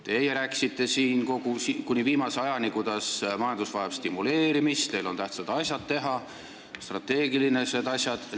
Teie rääkisite kuni viimase ajani, kuidas majandus vajab stimuleerimist ja teil on tähtsad strateegilised asjad teha.